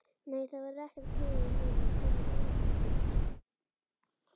Nei, það verður ekkert klúður núna, komið nóg af slíku.